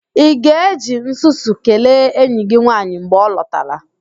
Ị ga-eji nsusu kelee enyi gị nwaanyị mgbe ọ lọtara?